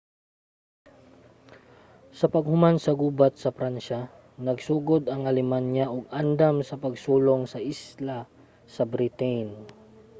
sa paghuman sa gubat sa pransya nagsugod ang alemanya og andam sa pagsulong sa isla sa britain